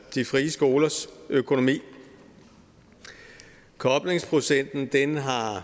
de frie skolers økonomi koblingsprocenten har